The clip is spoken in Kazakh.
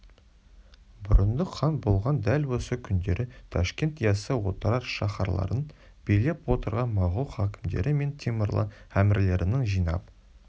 бұрындық хан болған дәл осы күндері ташкент яссы отырар шаһарларын билеп отырған моғол хакімдері мен темірлан әмірлерінің жинап